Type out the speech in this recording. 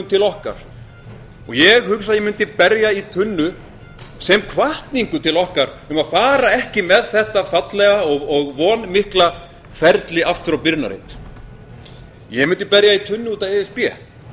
til okkar og ég hugsa að ég mundi berja í tunnu sem hvatningu til okkar um að fara ekki með þetta fallega og vonmikla ferli aftur á byrjunarreit ég mundi berja í tunnu út af e s b